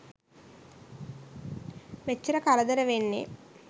මෙච්චර කරදර වෙන්නේ.